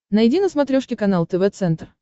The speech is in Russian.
найди на смотрешке канал тв центр